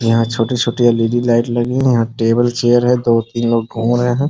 यहां छोटी-छोटी LED. Light लगी हैं यहां टेबल चेयर है दो-तीन लोग घूम रहे हैं।